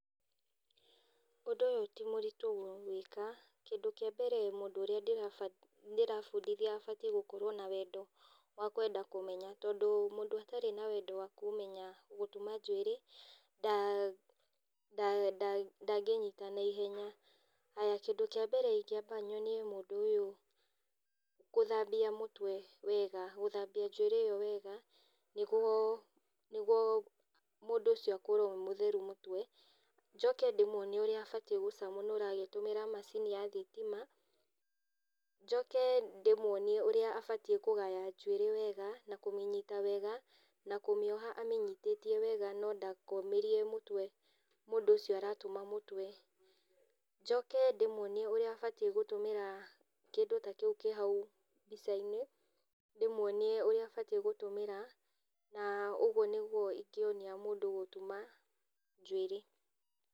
Ũndũ ũyũ ti mũritũ gwĩka, kĩndũ kĩa mbere mũndũ ũrĩa ndĩrabundithia abatiĩ gũkorũo na wendo wa kwenda kũmenya tondũ mũndũ atarĩ na wendo wa kwenda gũtuma njuĩrĩ pause ndangĩnyita naihenya. Haya kĩndũ kĩa mbere ingĩamba nyonie mũndũ ũyũ gũthambia mũtwe wega, gũthambia njuĩrĩ ĩyo wega nĩguo mũndũ ũcio akorwo e mũtheru mũtwe. Njoke ndĩmuonie ũrĩa abatiĩ gũcanũra agĩtũmĩra macini ya thitima. Njoke ndĩmuonie ũrĩa abatiĩ kũgaya njuĩrĩ wega na kũminyita wega na kũmĩoha amĩnyitĩtie wega no ndakomĩrie mũtwe mũndũ ũcio aratuma mũtwe. Njoke ndĩmuonie ũrĩa abatiĩ gũtũmĩra kĩndũ ta kĩu kĩ hau mbica-inĩ, ndĩmuonie ũrĩa abatiĩ gũtũmĩra. Na ũguo nĩguo ingĩonia mũndũ gũtuma njuĩrĩ.